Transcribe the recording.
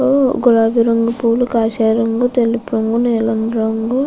గులాబీ రంగు పువ్వులు కాశాయి రంగు తెలుగు రంగు నీలం రంగు --